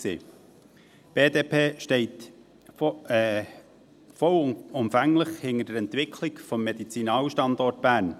Die BDP steht vollumfänglich hinter der Entwicklung des Medizinalstandorts Bern.